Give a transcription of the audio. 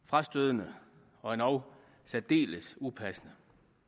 frastødende og endog særdeles upassende